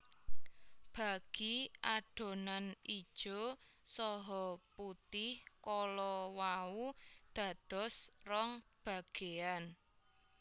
Bagi adonan ijo saha putih kala wau dados rong bageyan